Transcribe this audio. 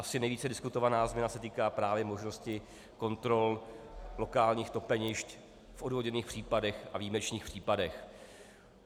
Asi nejvíce diskutovaná změna se týká právě možnosti kontrol lokálních topenišť v odůvodněných případech a výjimečných případech.